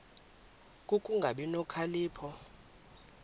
ku kungabi nokhalipho